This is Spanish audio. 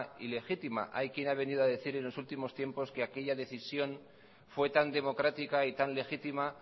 y legítima hay quien ha venido a decir en los últimos tiempos que aquella decisión fue tan democrática y tan legítima